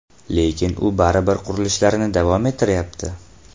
Lekin u baribir qurilishlarini davom ettirayapti.